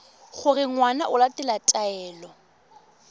gore ngwana o latela taelo